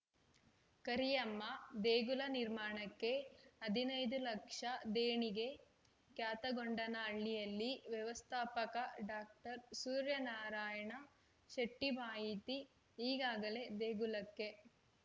ಕರಿಯಮ್ಮ ದೇಗುಲ ನಿರ್ಮಾಣಕ್ಕೆ ಹದಿನೈದು ಲಕ್ಷ ದೇಣಿಗೆ ಕ್ಯಾತಗೊಂಡನಹಳ್ಳಿಯಲ್ಲಿ ವ್ಯವಸ್ಥಾಪಕ ಡಾಕ್ಟರ್ ಸೂರ್ಯನಾರಾಯಣ ಶೆಟ್ಟಿಮಾಹಿತಿ ಈಗಾಗಲೇ ದೇಗುಲಕ್ಕೆ